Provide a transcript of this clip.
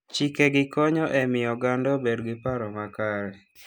Chikegi konyo e miyo oganda obed gi paro makare.